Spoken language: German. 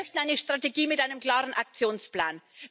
Wir möchten eine Strategie mit einem klaren Aktionsplan.